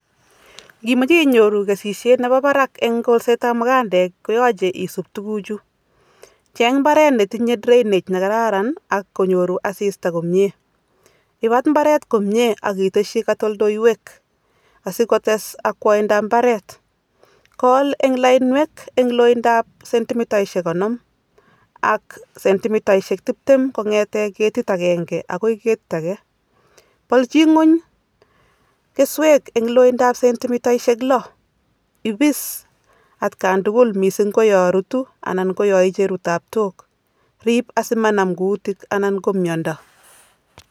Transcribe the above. Ngimoche inyoru kesisiet nebo barak eng kolsetab mukandeek koyoche isub tukuchu, cheng mbaret netinye drainage nekararan ak konyoru asista komie, ibat mbaret komie ak itesyi katoldoiwek asikotes akwaindab mbaret, Kool en lainwek eng loindab sentimitaishek konom ak sentimitaisiek tiptem kongete ketit akenge akoi ketit age, polchi nguny keswek eng loindab sentimitaisiek lo, ibis atkan tugul mising ko yo rutu anan ko yo icheru taptook, riip asi manam kuutik ana ko miondo.